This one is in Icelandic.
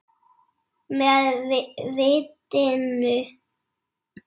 Með vitinu.